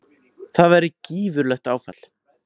Það væri gífurlegt áfall.